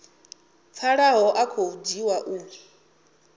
pfalaho a khou dzhiwa u